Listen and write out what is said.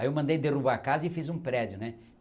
Aí eu mandei derrubar a casa e fiz um prédio, né?